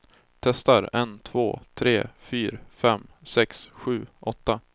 Testar en två tre fyra fem sex sju åtta.